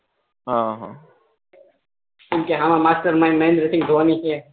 હા હા આમાં માસ્ટર માઇન્ડ મહેન્દ્ર સિંઘ ધોની છે